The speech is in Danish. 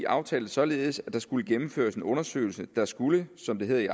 aftalte således at der skulle gennemføres en undersøgelse der skulle som det hedder i